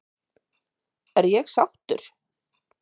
Er ég sáttur?